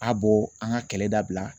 A bɔ an ka kɛlɛ dabila.